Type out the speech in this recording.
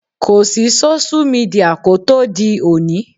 Kò sí sóṣú midià kó tó di òní